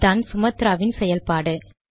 அதான் சுமத்ராவின் செயல்பாடு